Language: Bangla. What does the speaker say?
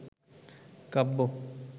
কাব্য